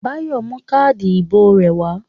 Báyọ̀ mú káádì ìbò rẹ̀ wá.